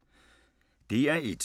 DR1